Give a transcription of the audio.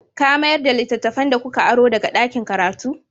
Ka mayar da littattafan da kuka aro daga ɗakin karatu?